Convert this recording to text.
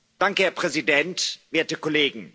Herr Präsident, werte Kollegen!